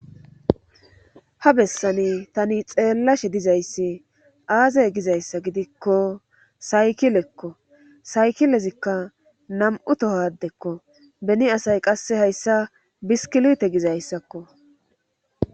ha bessani tani xeellashe dizayssi aazay gizayssa gidikko saykilekko saykilezikka nam7u tohodekko beni asay qasse hayssa biskilite gizayssakko